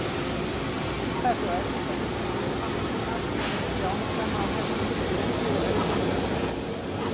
Það er svo erfitt að hugsa til óhamingjunnar og þjáninganna á þessum löngu erfiðu öldum.